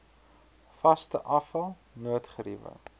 vaste afval noodgeriewe